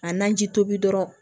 A naji tobi dɔrɔn